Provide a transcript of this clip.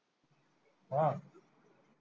हा?